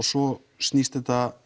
svo snýst þetta